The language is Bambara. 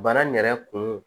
Bana yɛrɛ kun